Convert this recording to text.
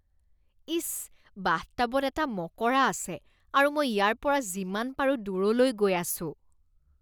ইচ, বাথটাবত এটা মকৰা আছে আৰু মই ইয়াৰ পৰা যিমান পাৰো দূৰলৈ গৈ আছোঁ।